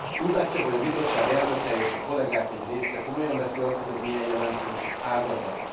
Úgy látja, hogy a bizottság elnöke és a kollégák egy része komolyan veszi azt, hogy ez milyen jelentős ágazat?